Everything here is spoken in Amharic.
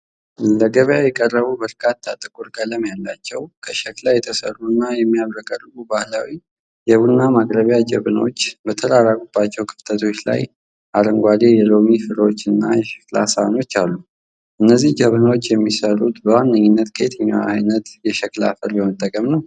ለገበያ የቀረቡ በርካታ ጥቁር ቀለም ያላቸው፣ ከሸክላ የተሰሩና የሚያብረቀርቁ ባህላዊ የቡና ማቅረቢያ ጀበናዎች በተራራቁባቸው ክፍተቶች ላይ አረንጓዴ የሎሚ ፍሬዎችና የሸክላ ሳህኖች አሉ፤ እነዚህ ጀበናዎች የሚሠሩት በዋነኝነት ከየትኛው ዓይነት የሸክላ አፈር በመጠቀም ነው?